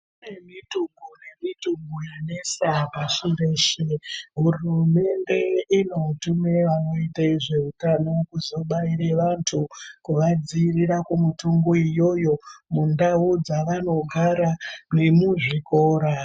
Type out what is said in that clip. Kune mithungo nemithungo yanesa pasi reshe hurumende inotumire vanoite zveutano kuzobaire vantu kuvadziirire kumithungo iyoyo mundau dzavanogara nemuzvikora.